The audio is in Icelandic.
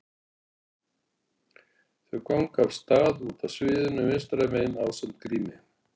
Þau ganga af stað út af sviðinu vinstra megin ásamt Grími.